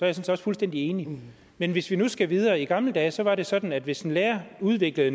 også fuldstændig enig men hvis vi nu skal videre i gamle dage var det sådan at hvis en lærer udviklede